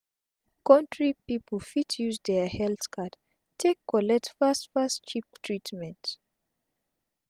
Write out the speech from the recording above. countri pipu fit use dia health card take collect fast fast cheap treatment